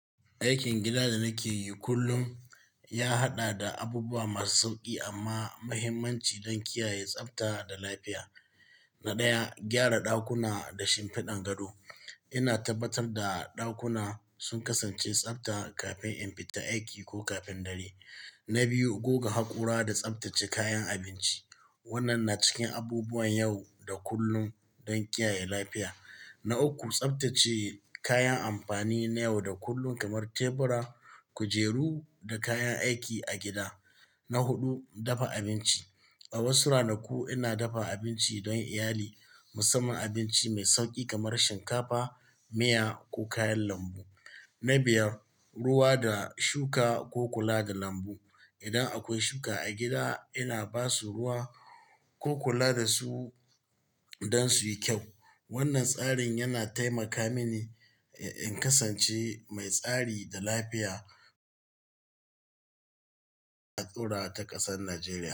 Aikin gida da nake yi kullum, ya haɗa da abubuwa masu sauƙi amma muhimmanci don kiyaye tsabta da lafiya. Na ɗaya, gyara ɗakuna da shimfiɗan gado. Ina tabbatar da ɗakuna sun kasance tsabta kafin in fita aiki ko kafin dare. Na biyu, goga haƙora da tsabtace kayan abinci. Wannan na cikin abubuwan yau da kullun don kiyaye lafiya. Na uku, tsabtace kayan amfani na yau da kullun kamar tebura, kujeru da kayan aiki a gida. Na huɗu, dafa abinci. A wasu ranaku, ina dafa abinci don iyali, musamman abinci mai sauƙi kamar shinkafa, miya ko kayan lambu. Na biyar, ruwa da shuka ko kula da lambu. Idan akwai shuka a gida, ina basu ruwa ko kula da su don su yi kyau. Wannan tsarin yana taimaka mini in kasance mai tsari da lafiya a ɗorawa ta a ƙasar Najeriya.